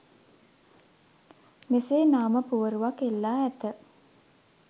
මෙසේ නාම පුවරුවක් එල්ලා ඇත.